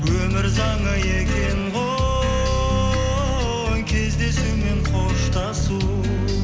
өмір заңы екен ғой кездесу мен қоштасу